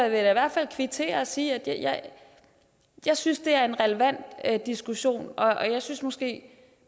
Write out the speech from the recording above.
i hvert fald kvittere og sige at jeg synes det er en relevant diskussion og jeg synes måske